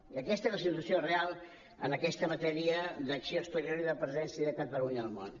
i aquesta és la situació real en aquesta matèria d’acció exterior i de presència de catalunya al món